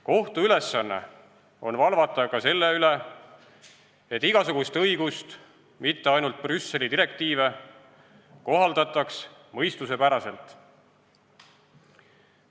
Kohtu ülesanne on valvata ka selle üle, et igasugust õigust, mitte ainult Brüsseli direktiive, kohaldataks mõistusepärastelt.